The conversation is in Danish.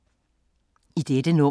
I dette nummer